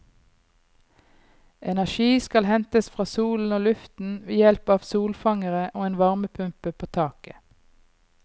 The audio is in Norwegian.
Energi skal hentes fra solen og luften, ved hjelp av solfangere og en varmepumpe på taket.